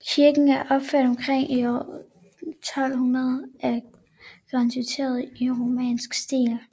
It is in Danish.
Kirken er opført omkring år 1200 af granitkvadre i romansk stil